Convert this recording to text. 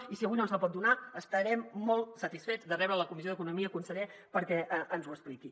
i si avui no ens la pot donar estarem molt satisfets de rebre’l a la comissió d’economia conseller perquè ens ho expliqui